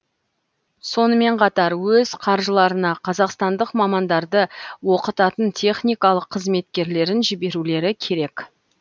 сонымен қатар өз қаржыларына қазақстандық мамандарды оқытатын техникалық қызметкерлерін жіберулері керек